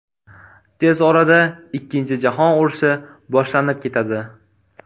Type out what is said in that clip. Tez orada ikkinchi jahon urushi boshlanib ketadi.